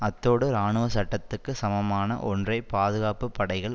அத்தோடு இராணுவ சட்டத்துக்கு சமமான ஒன்றை பாதுகாப்பு படைகள்